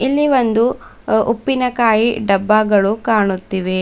ಇಲ್ಲಿ ಒಂದು ಅ ಉಪ್ಪಿನಕಾಯಿ ಡಬ್ಬಗಳು ಕಾಣುತ್ತಿವೆ.